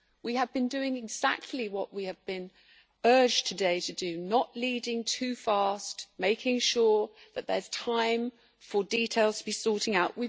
We have been doing exactly what we have been urged to do today not leading too fast and making sure that there is time for details to be sorted out.